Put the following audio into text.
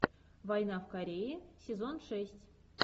война в корее сезон шесть